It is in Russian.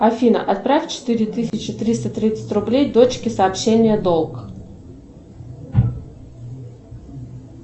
афина отправь четыре тысячи триста тридцать рублей дочке сообщение долг